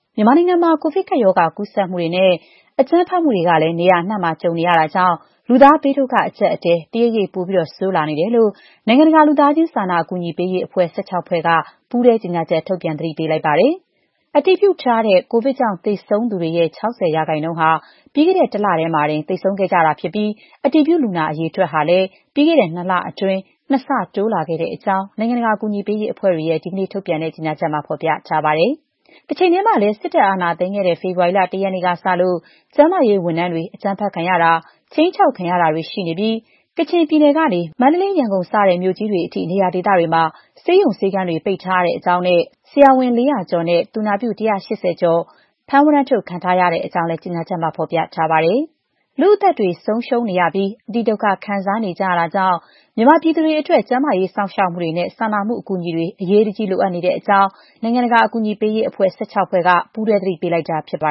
မြန်မာနိုင်ငံမှာ ကိုဗစ်ကပ်ရောဂါ ကူးစက်မှုတွေနဲ့ နေရာအနှံ့မှာ အကြမ်းဖက်မှုတွေကလည်း ကြုံလာနေရတာကြောင့် လူသားဘေးဒုက္ခ အကျပ်အတည်း တရိပ်ရိပ် ပိုဆိုးလာနေတယ်လို့ နိုင်ငံတကာ လူသားချင်းစာနာ အကူအညီပေးရေးအဖွဲ့ ၁၆ ဖွဲ့က ပူးတွဲကြေညာချက် ထုတ်ပြန်သတိပေးလိုက်ပါတယ်။ ကိုဗစ်အတည်ပြု သေဆုံးသူတွေရဲ့ ၆၀ % ဟာ ပြီးခဲ့တဲ့တလတည်းမှာတင် သေဆုံးခဲ့ကြသူတွေ ဖြစ်ပြီး အတည်ပြုလူနာ အရေအတွက်ဟာလည်း ပြီးခဲ့တဲ့ နှစ်လအတွင်း ၂ ဆ တိုးလာခဲ့တဲ့အကြောင်း နိုင်ငံတကာအကူအညီပေးရေးအဖွဲ့တွေရဲ့ဒီကနေ့ုထုတ်ပြန်တဲ့ ကြေညာချက်မှာ ဖော်ပြထားပါတယ်။ တချိန်တည်းမှာလည်း စစ်တပ်အာဏာသိမ်းခဲ့တဲ့ ဖေဖော်ဝါရီလ ၁ ရက်နေ့ကစလို့ကျန်းမာရေးဝန်ထမ်းတွေ အကြမ်းဖက်ခံရတာ၊ ခြိမ်းခြောက်ခံရတာတွေ ရှိနေပြီး ကချင်ပြည်နယ် ကနေ မန္တလေး၊ ရန်ကုန်စတဲ့မြို့တွေအထိ နေရာဒေသတွေမှာ ဆေးရုံဆေးခန်းတွေ ပိတ်ထားရတဲ့အကြောင်းနဲ့ဆရာဝန် ၄၀၀ ကျော်နဲ့ သူနာပြု ၁၈၀ ကျော် ဖမ်းဝရမ်းထုတ် ခံထားရတဲ့အကြောင်းလည်း ကြေညာချက်မှာ ဖော်ပြထားပါတယ်။ လူ့အသက်တွေ ဆုံးရှုံးနေရပြီး အတိဒုက္ခခံစားနေကြရတာကြောင့် မြန်မာပြည်သူတွေ အတွက် ကျန်းမာရေး စောင့်ရှောက်မှုနဲ့ စာနာမှု အကူအညီတွေ အရေးတကြီး လိုအပ်နေတဲ့အကြောင်း Save The Children ၊ World Vision ၊ People In Need နဲ့ Action Aid အပါအဝင် နိုင်ငံတကာကူအညီပေးရေး အဖွဲ့ ၁၆ ဖွဲ့က ပူးတွဲ သတိပေးလိုက်တာ ဖြစ်ပါ